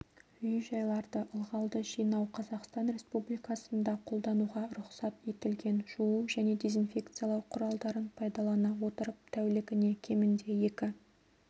үй-жайларды ылғалды жинау қазақстан республикасында қолдануға рұқсат етілген жуу және дезинфекциялау құралдарын пайдалана отырып тәулігіне кемінде екі